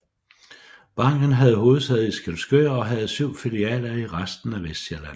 Banken havde hovedsæde i Skælskør og havde syv filialer i resten af Vestsjælland